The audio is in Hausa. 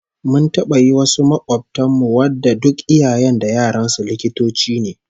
Mun taba yi wasu makobtan mu wanda duk iyayen da yaran su likitoci ne